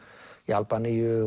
Albaníu